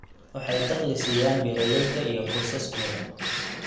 Waxay dakhli siiyaan beeralayda iyo qoysaskooda.